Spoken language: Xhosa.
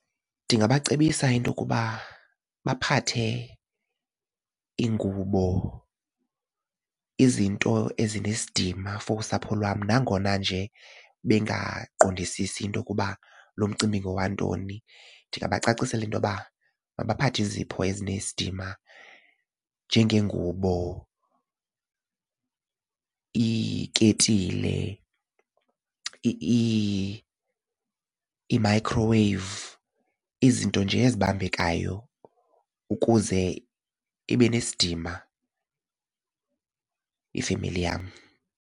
Ndingabacebisa into yokuba baphathe iingubo izinto ezinesidima for usapho lwam nangona nje bengaqondisisi into yokuba lo mcimbi ngowantoni. Ndingabacacisela into yoba mabaphathe izipho ezinesidima njengeengubo, iiketile, i-microwave izinto nje ezibambekayo ukuze ibe nesidima ifemeli yam.